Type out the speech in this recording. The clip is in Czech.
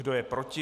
Kdo je proti?